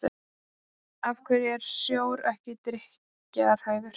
af hverju er sjór ekki drykkjarhæfur